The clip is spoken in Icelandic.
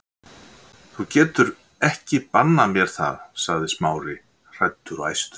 Þú getur ekki bannað mér það- sagði Smári, hræddur og æstur.